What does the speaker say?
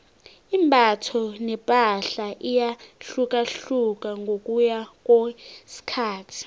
imbatho nepahla iyahlukahlukana ngokuya ngokwesikhathi